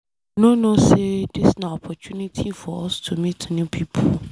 You no know say dis na opportunity for us to meet new people.